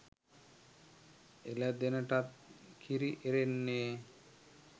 එළදෙනටත් කිරි එරෙන්නේ